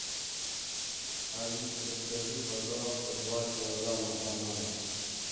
алиса закажи пожалуйста два килограмма бананов